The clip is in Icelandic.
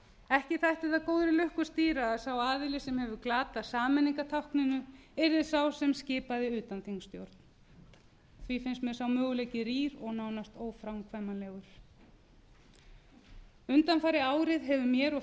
ekki þætti það góðri lukku stýra að sá aðili sem hefur glatað sameiningartákninu yrði sá sem skipaði utanþingsstjórn því finnst mér sá möguleiki rýr og nánast óframkvæmanlegur undanfarið árið hefur mér og